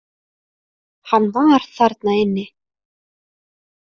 Hann var þarna inni.